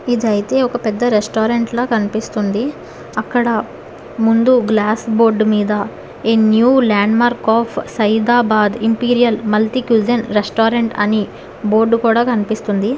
ఇదైతే ఒక పెద్ద రెస్టారెంట్ లా కనిపిస్తుంది అక్కడ ముందు గ్లాస్ బోర్డు మీద a new landmark of Saidabad imperial multicuisine restaurant అని బోర్డు కూడా కనిపిస్తుంది.